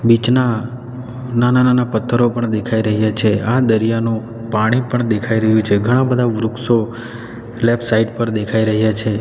Beach ના નાના-નાના પથ્થરો પણ દેખાઈ રહ્યા છે આ દરિયાનો પાણી પણ દેખાઈ રહ્યું છે ઘણા બધા વૃક્ષો લેફ્ટ સાઈડ પર દેખાઈ રહ્યા છે.